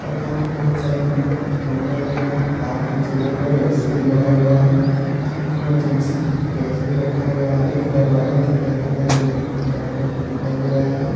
और यहां पे बहुत सारे चोंगे लगे हैं तार खींचे गए हैं और ए_सी भी लगाया गया है यहां पे इमरजेंसी गैस भी रखा गया है एक दरवाजा दिखाई दे रहा है जोकि पीला कलर के दिखाई दे रहा है।